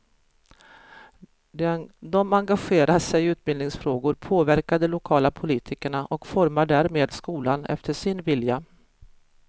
De engagerar sig i utbildningsfrågor, påverkar de lokala politikerna och formar därmed skolan efter sin vilja.